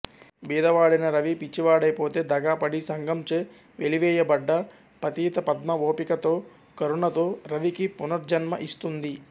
బీదవాడైన రవి పిచ్చివాడైపోతే దగా పడి సంఘంచే వెలివేయబడ్డ పతిత పద్మ ఓపికతో కరుణతో రవికి పునర్జన్మ ఇస్తుంది